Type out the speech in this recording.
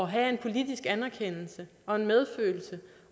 have politisk anerkendelse